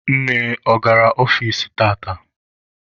Nne, ọ gara ọfici tata?